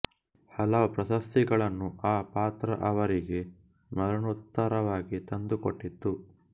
ಹಲವು ಪ್ರಶಸ್ತಿಗಳನ್ನು ಆ ಪಾತ್ರ ಅವರಿಗೆ ಮರಣೋತ್ತರವಾಗಿ ತಂದು ಕೊಟ್ಟಿತು